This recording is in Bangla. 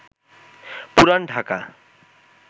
পুরান ঢাকা